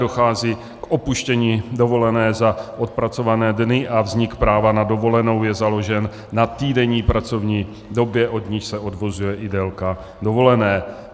Dochází k opuštění dovolené za odpracované dny a vznik práva na dovolenou je založen na týdenní pracovní době, od níž se odvozuje i délka dovolené.